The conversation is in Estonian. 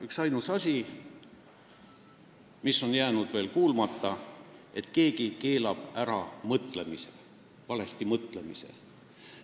Üksainus asi, mis on jäänud veel kuulmata, on see, et keegi keelab ära mõtlemise, valesti mõtlemise.